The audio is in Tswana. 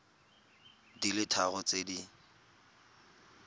di le tharo tse di